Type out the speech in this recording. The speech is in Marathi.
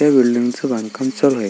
त्या बिल्डींगच बांधकाम चालू आहे.